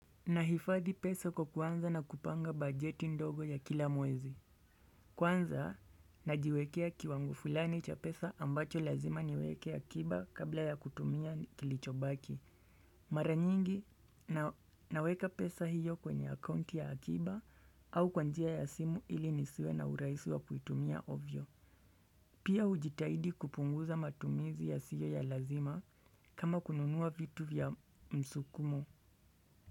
Nahifadhi pesa kwa kuanza na kupanga bajeti ndogo ya kila mwezi. Kwanza najiwekea kiwango fulani cha pesa ambacho lazima niweke akiba kabla ya kutumia kilichobaki. Mara nyingi naweka pesa hiyo kwenye akaunti ya kiba au kwa njia ya simu ili nisiwe na urahisi wa kuitumia ovyo. Pia hujitahidi kupunguza matumizi yasiyo ya lazima kama kununua vitu vya msukumo.